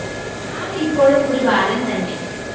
ആള് ഇപ്പോഴും ഒരു ബാലന്‍ തന്നെ